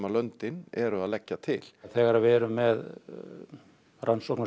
löndin eru að leggja til þegar við erum með rannsókn á